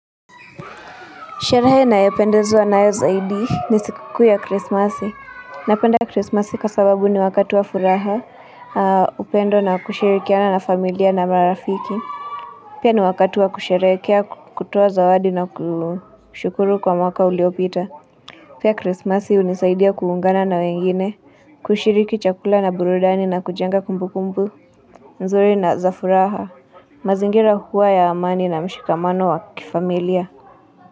Sherehe nayopendezwa nayo zaidi ni siku kuu ya Christmasi. Napenda Christmasi kwa sababu ni wakati wa furaha upendo na kushirikiana na familia na marafiki. Pia ni wakati wa kusherehekea kutoa zawadi na kushukuru kwa mwaka uliopita. Pia Christmasi hunisaidia kuungana na wengine, kushiriki chakula na burudani na kujenga kumbukumbu. Nzuri na za furaha, mazingira huwa ya amani na mshikamano wa kifamilia.